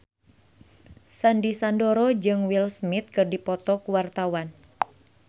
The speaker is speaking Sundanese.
Sandy Sandoro jeung Will Smith keur dipoto ku wartawan